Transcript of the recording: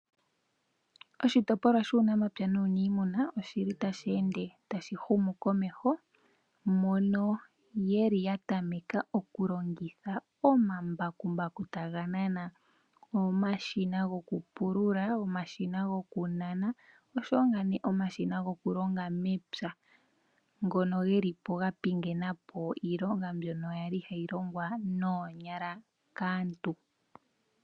Oshitopolwa shuunamapya nuuniimuna oshili tashi ende tashi humu komeho mono yeli yatameka okulongitha omambakumbaku taga nana omashina gokupulula, omashina gokunana oshowo omashina gokulonga mepya ngono geli po gapingena po iilongwa mbyono yali hayilongwa noonyala kaantu.